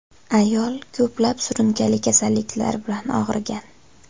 Ayol ko‘plab surunkali kasalliklar bilan og‘rigan.